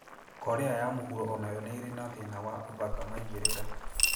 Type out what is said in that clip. Korea ya Mũhuro o nayo nĩ ĩrĩ na thĩna wa ũthaka maigĩrĩra